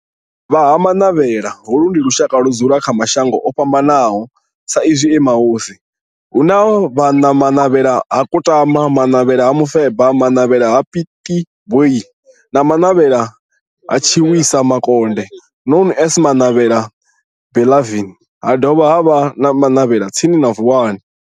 Vha Ha-Manavhela, holu ndi lushaka ludzula kha mashango ofhambanaho sa izwi e mahosi hu na Manavhela ha Kutama, Manavhela ha Mufeba, Manavhela ha Pietboi na Manavhela ha Tshiwisa Mukonde known as Manavhela Benlavin ha dovha havha na Manavhela tsini na Vuwani.